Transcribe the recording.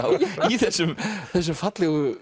í þessum þessum fallegu